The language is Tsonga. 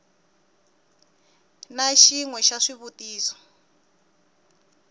na xin we xa swivutiso